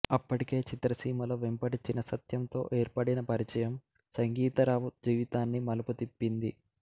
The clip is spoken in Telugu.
అప్పటికే చిత్రసీమలో వెంపటి చినసత్యంతో ఏర్పడిన పరిచయం సంగీతరావు జీవితాన్ని మలుపు తిప్పింది